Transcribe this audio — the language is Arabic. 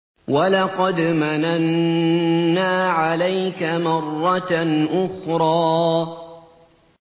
وَلَقَدْ مَنَنَّا عَلَيْكَ مَرَّةً أُخْرَىٰ